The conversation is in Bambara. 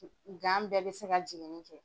Gan bɛɛ bɛ se ka jigin ni kɛ.